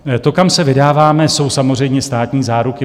To, kam se vydáváme, jsou samozřejmě státní záruky.